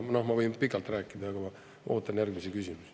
Noh, ma võin pikalt rääkida, aga ma ootan järgmisi küsimusi.